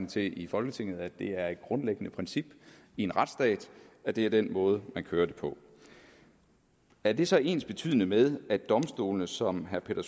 til i folketinget nemlig at det er et grundlæggende princip i en retsstat at det er den måde man kører det på er det så ensbetydende med at domstolene som herre peter